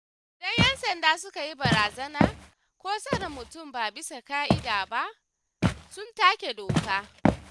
Idan ‘yan sanda suka yi barazana, ko tsare mutum ba bisa ƙa'ida ba, sun take doka.